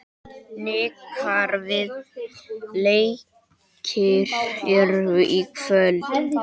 Hnikar, hvaða leikir eru í kvöld?